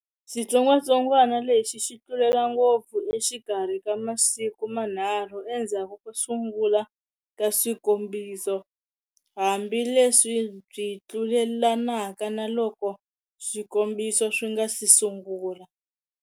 Xitsongwatsongwana lexi xi tlulelana ngopfu exikarhi ka masiku manharhu endzhaku ko sungula ka swikombiso, hambi leswi byi tlulelanaka naloko swikombiso swi nga si sungula.